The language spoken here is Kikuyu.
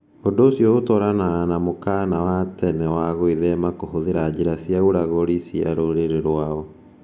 Ũndũ ũcio ũratwarana na mũkaana wa tene wa gwĩthema kũhũthĩra njĩra cia ũragũri cia rũrĩrĩ rwao.